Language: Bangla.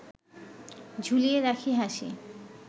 ঝুলিয়ে রাখি হাসি